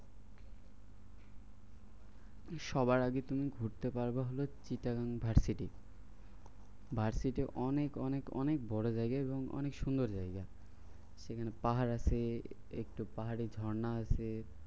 সবার আগে তুমি ঘুরতে পারবে হলো চিটাগং ভার্সিটে অনেক অনেক অনেক বড় জায়গা এবং অনেক সুন্দর জায়গা। সেখানে পাহাড় আছে একটু পাহাড়ি ঝর্ণা আছে।